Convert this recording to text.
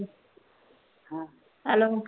ਹਾਂ hello